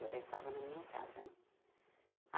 Eu já estava na minha casa né.